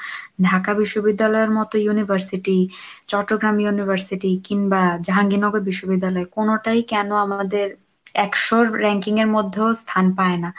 ঢাকা বিশ্ববিদ্যালয়ের মতো university, Chattogram university কিংবা জাহাঙ্গীর নগর বিশ্ববিদ্যালয় কোনোটাই কেন আমাদের একশোর ranking এর মধ্যেও স্থান পায় না?